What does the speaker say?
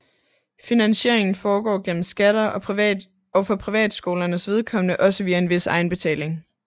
Finansieringen foregår gennem skatter og for privatskolernes vedkommende også via en vis egenbetaling